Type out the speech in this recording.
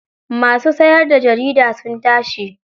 Masu siyarda jarida sun tashi.